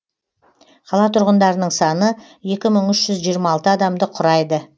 қала тұрғындарының саны екі мың үш жүз жиырма алты адамды құрайды